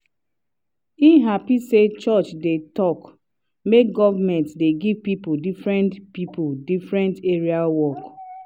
e happy say church dey talk make government dey give people different people different areas work.